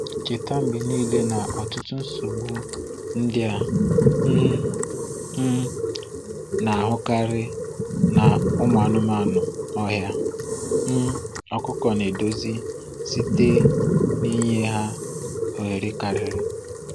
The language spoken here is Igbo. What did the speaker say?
Cheta mgbe niile na ọtụtụ nsogbu ndị a um um na-ahụkarị na ụmụ anụ ọhịa um ọkụkọ na-edozi site n’ịnye ha ohere karịa.